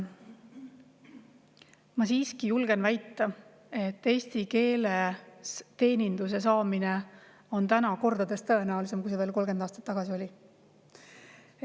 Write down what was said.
Ma siiski julgen väita, et eestikeelse teeninduse saamine on täna kordades tõenäolisem, kui see veel 30 aastat tagasi oli.